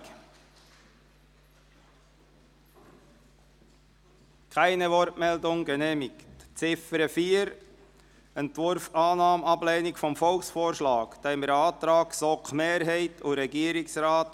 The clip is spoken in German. Der Volksvorschlag wird mit der Empfehlung auf Ablehnung des Volkvorschlags unterbreitet.